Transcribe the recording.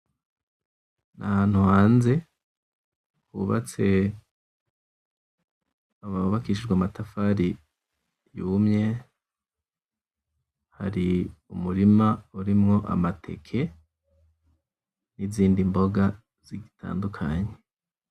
N'ahantu hanze hubatse bubakishije amatafari yumwe. Hari umurima urimwo amateke n'izindi mboga zitandukanye.